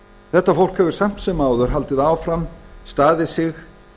þetta fólk hefur samt sem áður haldið áfram staðið sig